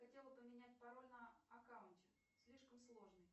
хотела поменять пароль на аккаунте слишком сложный